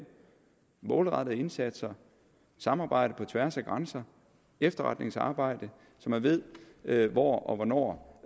målrettede indsatser samarbejde på tværs af grænser og efterretningsarbejde så man ved ved hvor og hvornår